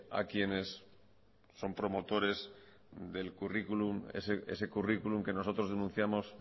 a quienes son promotores del currículum ese currículum que nosotros denunciamos